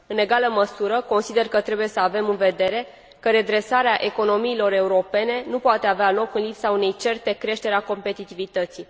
În egală măsură, consider că trebuie să avem în vedere că redresarea economiilor europene nu poate avea loc în lipsa unei certe creșteri a competitivității.